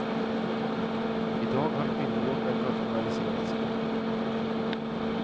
I dag har kvinnojobben rationaliserats bort.